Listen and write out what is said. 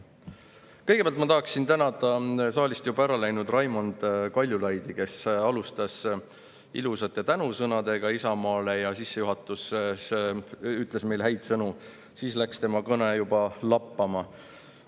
Kõigepealt tahan tänada saalist juba ära läinud Raimond Kaljulaidi, kes alustas ilusate tänusõnadega Isamaale ja sissejuhatuses ütles meile häid sõnu, aga siis läks tema kõne lappama.